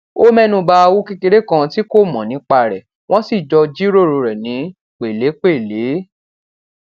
ó ménu ba owó kékeré kan tí kò mò nípa rè wón sì jọ jíròrò rè ní pèlépèlé